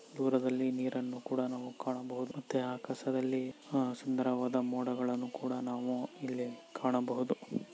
ದೂರದಲ್ಲಿ ನೀರನ್ನು ಕೂಡ ನಾವು ಕಾಣಬಹುದು ಮತ್ತೆ ಆಕಾಶದಲ್ಲಿ ಆಹ್ ಸುಂದರವಾದ ಮೋಡಗಳನ್ನು ನಾವು ಇಲ್ಲಿ ಕಾಣಬಹುದು.